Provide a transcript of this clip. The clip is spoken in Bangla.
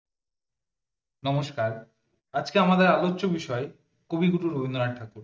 নমস্কার আজকে আমাদের আলোচ্য বিষয় কবি গুরু রবীন্দ্রনাথ ঠাকুর